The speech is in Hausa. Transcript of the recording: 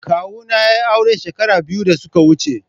Kawuna ya yi aure shekara biyu da suka wuce.